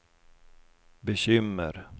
bekymmer